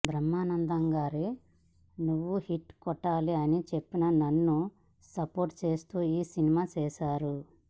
బ్రహ్మానందం గారు నువ్వు హిట్ కొట్టాలి అని చెప్పి నన్ను సపోర్ట్ చేస్తూ ఈ సినిమా చేసారు